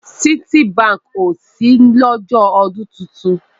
Citibank o ṣí lọ́jọ́ ọdún titun.